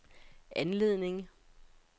anledning